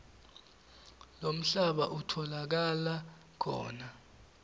lomhlaba utfolakala khona